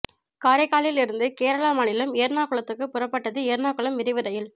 காரைக்காலில் இருந்து கேரள மாநிலம் எர்ணாகுளத்துக்கு புறப்பட்டது எர்ணாகுளம் விரைவு ரயில்